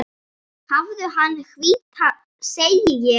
Hafðu hana hvíta, segi ég.